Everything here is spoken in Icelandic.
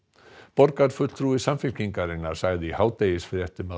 borgarfulltrúi Samfylkingarinnar sagði í hádegisfréttum að